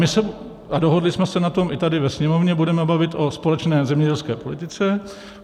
My se - a dohodli jsme se na tom i tady ve Sněmovně - budeme bavit o společné zemědělské politice.